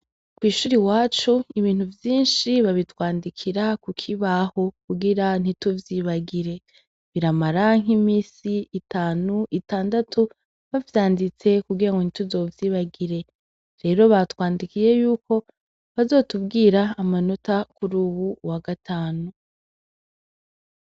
Kw'ishure iwacu ibintu vyinshi babitwandikira ku kibaho kugira ntituvyibagire. Biramara nk'imisi itanu, itandatu bavyanditse kugirango ntituzovyibagire. Rero batwandikiye yuko bazotubwira amanota kuri uyu wa gatanu.